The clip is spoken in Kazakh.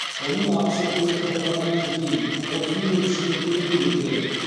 оның ақысы көлік тоқтағаннан кейін отыз минут ішінде төленуі керек